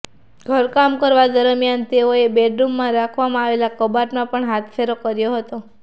ઘરકામ કરવા દરમિયાન તેઓએ બેડરૂમમાં રાખવામાં આવેલા કબાટમાં પણ હાથફેરો કર્યો હતો